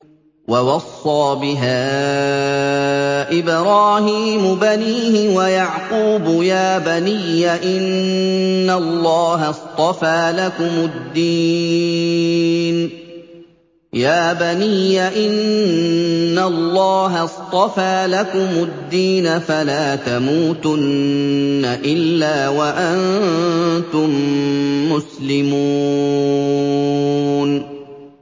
وَوَصَّىٰ بِهَا إِبْرَاهِيمُ بَنِيهِ وَيَعْقُوبُ يَا بَنِيَّ إِنَّ اللَّهَ اصْطَفَىٰ لَكُمُ الدِّينَ فَلَا تَمُوتُنَّ إِلَّا وَأَنتُم مُّسْلِمُونَ